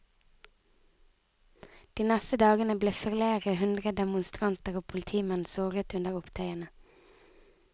De neste dagene ble flere hundre demonstranter og politimenn såret under opptøyene.